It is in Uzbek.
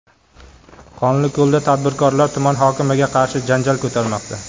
Qonliko‘lda tadbirkorlar tuman hokimiga qarshi janjal ko‘tarmoqda.